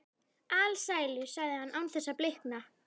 Alsælu, sagði hann án þess að blikna.